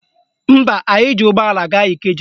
Mba, anyị ji ụgbọala gaa Ikeja